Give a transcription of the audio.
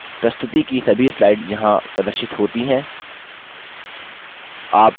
प्रस्तुति की सभी slides यहाँ प्रदर्शित होती हैं